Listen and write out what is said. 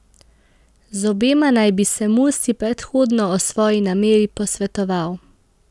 Z obema naj bi se Mursi predhodno o svoji nameri posvetoval.